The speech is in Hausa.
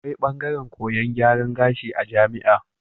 Akwai bangaran koyan gyaran kashi a jamia